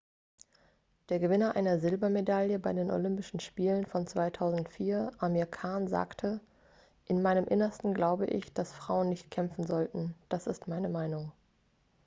der gewinner einer silbermedaille bei den olympischen spielen von 2004 amir khan sagte in meinem innersten glaube ich dass frauen nicht kämpfen sollten das ist meine meinung